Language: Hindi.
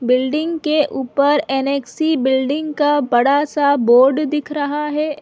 बिल्डिंग के ऊपर ऐनक्सी बिल्डिंग का बड़ा सा बोर्ड दिख रहा है।